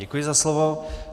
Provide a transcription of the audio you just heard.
Děkuji za slovo.